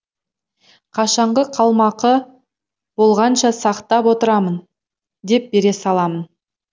қашанғы қалмақы болғанша сақтап отырамын деп бере саламын